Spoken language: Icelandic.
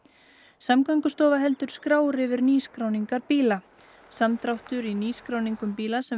Samgöngustofa heldur skrár yfir nýskráningar bíla samdráttur í nýskráningu bíla sem